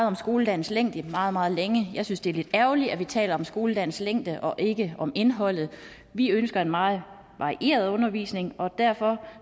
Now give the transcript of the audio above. om skoledagens længde meget meget længe jeg synes at det er lidt ærgerligt at vi taler om skoledagens længde og ikke om indholdet vi ønsker en meget varieret undervisning og derfor